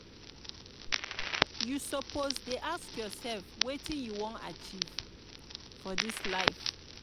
you suppose dey ask yoursef wetin you wan achieve for dis dis life.